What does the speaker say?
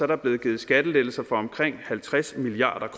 der blevet givet skattelettelser for omkring halvtreds milliard